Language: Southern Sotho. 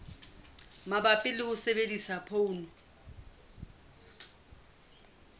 mabapi le ho sebedisa poone